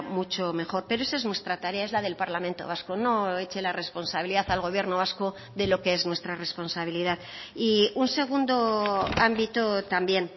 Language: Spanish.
mucho mejor pero esa es nuestra tarea es la del parlamento vasco no eche la responsabilidad al gobierno vasco de lo que es nuestra responsabilidad y un segundo ámbito también